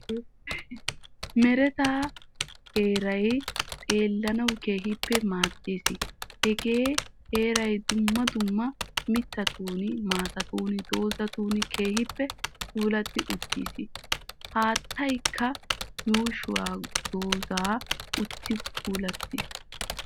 Meretta heeray xeelanawu keehin maadees. Hagee heeray dumma dumma mittatun maataan gozettidi keehippe puulatti uttiis. Haattaykka yuushshuwaa goozi uttidi puulattiis.